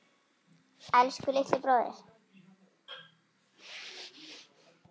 Elsku litli bróðir.